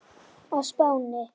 á Spáni.